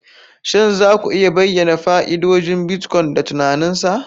Shin za ku iya bayyana fa'idodin Bitcoin da tunanin sa?